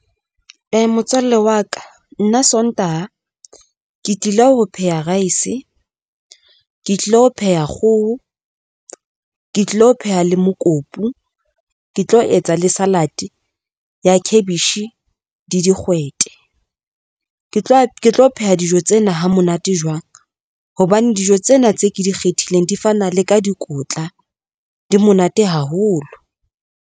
Motswalle wa ka nna Sontaha ke tlile ho pheha rice, ke tlilo pheha kgoho, ke tlilo pheha le mokopu, ke tlo etsa le salad ya khabetjhe le di kgwete, ke tlo ke tlo pheha dijo tsena ha monate jwang, hobane dijo tsena tse ke di kgethileng, di fana le ka dikotla di monate haholo.